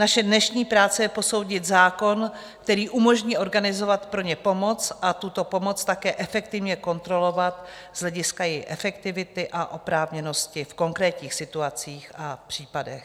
Naše dnešní práce je posoudit zákon, který umožní organizovat pro ně pomoc a tuto pomoc také efektivně kontrolovat z hlediska její efektivity a oprávněnosti v konkrétních situacích a případech.